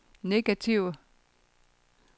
negative